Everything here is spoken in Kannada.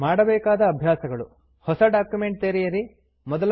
ಮಾಡಬೇಕಾದ ಅಭ್ಯಾಸಗಳು160 ಹೊಸ ಡಾಕ್ಯುಮೆಂಟ್ ತೆರೆಯಿರಿ